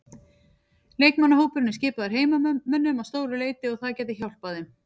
Leikmannahópurinn er skipaður heimamönnum að stóru leyti og það gæti hjálpað þeim.